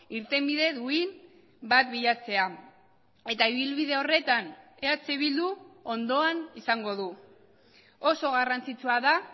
irtenbide duin bat bilatzea eta ibilbide horretan eh bildu ondoan izango du oso garrantzitsua da